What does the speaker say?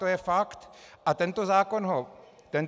To je fakt a tento zákon ho neřeší.